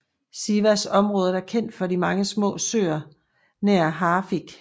Sivas området er kendt for de mange små søer nær Hafik